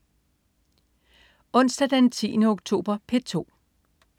Onsdag den 10. oktober - P2: